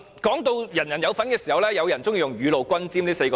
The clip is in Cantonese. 提到人人有份時，有人喜歡用"雨露均霑"來形容。